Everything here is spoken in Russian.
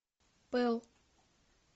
пэл